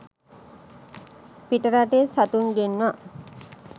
පිට රටින් සතුන් ගෙන්වා